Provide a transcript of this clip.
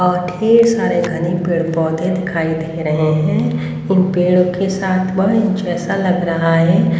अब ढेर सारे घनी पेड़ पौधे दिखाई दे रहे हैं इन पेड़ों के साथ वह इन जैसा लग रहा है।